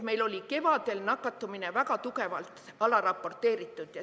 Meil oli kevadel nakatumine väga tugevalt alaraporteeritud.